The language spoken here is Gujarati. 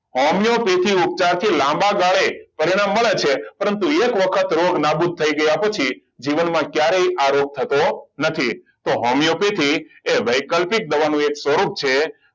હોમિયોપેથિક ઉપચાર સાથે લાંબા ગાળે પરિણામ મળે છે પરંતુ એક વખત રોગ નાબૂદ થઈ ગયા પછી જીવનમાં ક્યારેય આ રોગ થતો નથી તો હોમિયોપેથીક એ વૈકલ્પિક દવાનો એક સ્વરૂપ છે